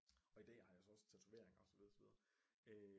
Og i dag har jeg så også tatoveringer og så videre og så videre